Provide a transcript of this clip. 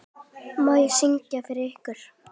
Má ég syngja með ykkur?